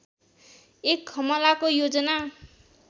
एक हमलाको योजना